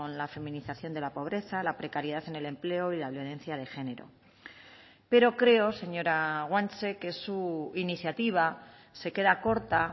la feminización de la pobreza la precariedad en el empleo y la violencia de género pero creo señora guanche que su iniciativa se queda corta